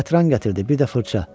Qətran gətirdi, bir də fırça.